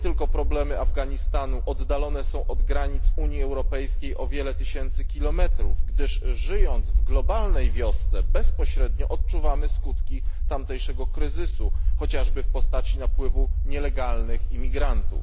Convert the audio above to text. Problemy Afganistanu są tylko pozornie oddalone od granic Unii Europejskiej o wiele tysięcy kilometrów, gdyż, żyjąc w globalnej wiosce, bezpośrednio odczuwamy skutki tamtejszego kryzysu, chociażby w postaci napływu nielegalnych imigrantów.